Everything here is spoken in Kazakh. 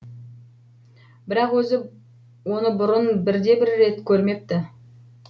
бірақ өзі оны бұрын бірде бір рет көрмепті